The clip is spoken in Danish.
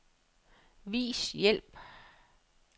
Vis hjælp.